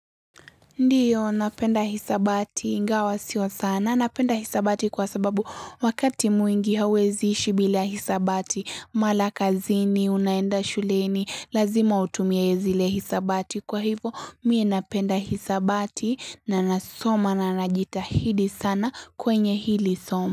Ndiyo napenda hisabati ingawa sio sana, napenda hisabati kwa sababu wakati mwingi hauwezi ishi bila hisabati mara kazini unaenda shuleni lazima utumie zile hisabati kwa hivo mie napenda hisabati na nasoma na najitahidi sana kwenye hili somo.